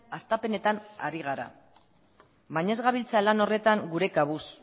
hastapenetan ari gara baina ez gabiltza lan horretan gure kabuz